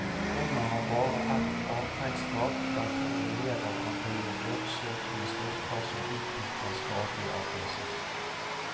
Rommet har bare ett avtrekksskap der to elever kan drive forsøk med stoffer som utvikler skadelige avgasser.